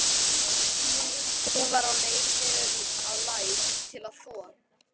Hún var á leið niður að læk til að þvo.